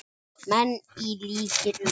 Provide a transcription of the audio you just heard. menn, í líkingu við.